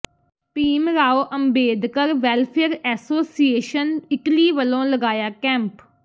Bhim Rao Ambedkar welfare association Italy ਵੱਲੋਂ ਲਗਾਇਆ camp